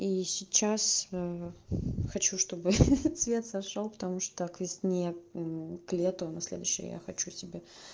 и сейчас хочу чтобы хи-хи цвет сошёл потому что к весне к лету на следующую я хочу себе